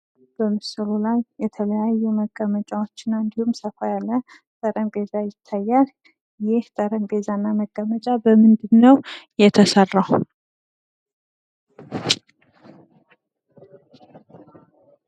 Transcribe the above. በምስሉ ላይ የተለያየ መቀመጫዎች እና እንድሁም ሰፋ ያለ ጠረጴዛ ይታያል። ይህ ጠረጴዛ እና መቀመጫ በምንድን ነው የተሰራው?